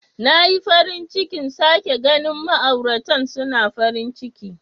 Na yi farin cikin sake ganin ma'auratan suna farin ciki.